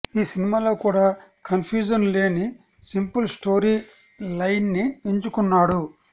ఈ సినిమాలో కూడా కన్ఫ్యూజన్ లేని సింపుల్ స్టోరీ లైన్ని ఎంచుకున్నాడు